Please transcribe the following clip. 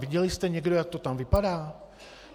Viděl jste někdo, jak to tam vypadá?